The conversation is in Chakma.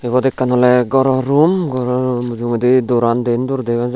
ebot ekkan ole ghoro room ghoro roomo mujogedi doran din door dega jar.